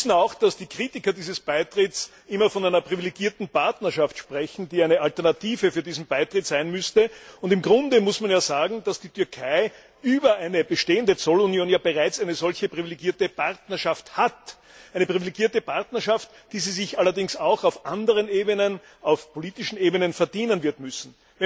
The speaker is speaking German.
Wir wissen auch, dass die Kritiker dieses Beitritts immer von einer privilegierten Partnerschaft sprechen, die eine Alternative für diesen Beitritt sein müsste, und im Grunde muss man sagen, dass die Türkei über eine bestehende Zollunion ja bereits eine solche privilegierte Partnerschaft hat, eine privilegierte Partnerschaft, die sie sich allerdings auch auf anderen Ebenen auf politischen Ebenen wird verdienen müssen.